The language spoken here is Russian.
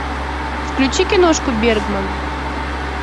включи киношку бергман